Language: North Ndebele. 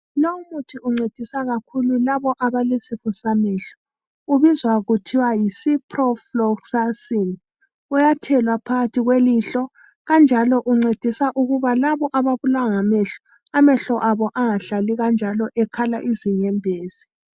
Lo umuthi uncedisa kakhulu labo abalesifo samehlo. Ubizwa kuthiwa yiCiprofloxacin, uyathelwa phakathi kwelihlo. Kanjalo uncedisa labo ababulawa ngamehlo amehlo abo angahlali kanjalo ekhala izinyembezi.